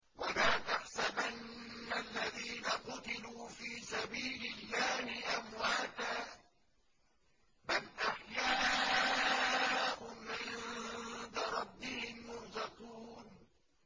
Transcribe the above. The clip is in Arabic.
وَلَا تَحْسَبَنَّ الَّذِينَ قُتِلُوا فِي سَبِيلِ اللَّهِ أَمْوَاتًا ۚ بَلْ أَحْيَاءٌ عِندَ رَبِّهِمْ يُرْزَقُونَ